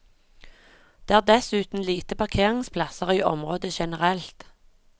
Det er dessuten lite parkeringsplasser i området generelt.